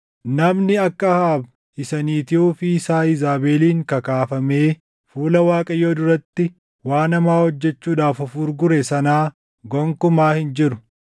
Namni akka Ahaab isa niitii ofii isaa Iizaabeliin kakaafamee fuula Waaqayyoo duratti waan hamaa hojjechuudhaaf of gurgure sanaa gonkumaa hin jiru.